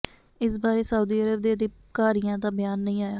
ਇਸ ਬਾਰੇ Saudi Arab ਦੇ ਅਧਿਕਾਰੀਆਂ ਦਾ ਬਿਆਨ ਨਹੀਂ ਆਇਆ